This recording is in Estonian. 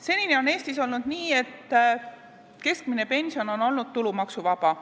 Senini on Eestis olnud nii, et keskmine pension on olnud tulumaksuvaba.